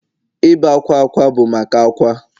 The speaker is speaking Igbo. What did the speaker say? Ibé akwa akwa bụ maka akwa